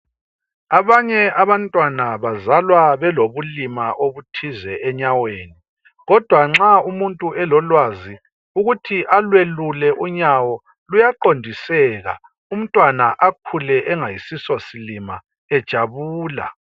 Abanye abantwana bazalwa belobulima obuthize enyaweni kodwa nxa umuntu elolwazi ukuthi alwelule unyawo. Luyaqondiseka umntwana akhule engasiso silima ejabula .